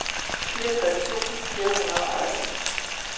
fireogtres tusind fire hundrede og en